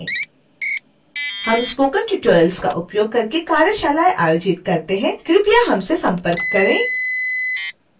हम spoken tutorials का उपयोग करके कार्यशालाएं आयोजित करते हैं और प्रमाण पत्र देते हैं कृपया हमसे संपर्क करें